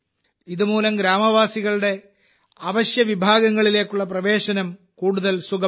ഇതുമൂലം ഗ്രാമവാസികളുടെ അവശ്യ വിഭാഗങ്ങളിലേക്കുള്ള പ്രവേശനം കൂടുതൽ സുഗമമായി